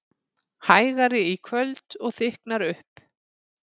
Hægari í kvöld og þykknar upp